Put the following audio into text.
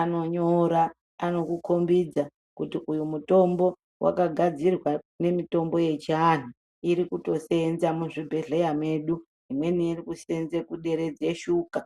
anonyora anokukombidza kuti uyu mutombo wakagadzirwa nemitombo yechianhu irikutoseenza muzvibhedhlera medu imweni irikuseenza kuderedze shuka.